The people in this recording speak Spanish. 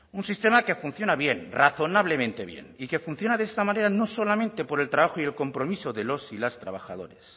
un sistema que funciona bien razonablemente bien y que funciona de esta manera no solamente por el trabajo y el compromiso de los y las trabajadores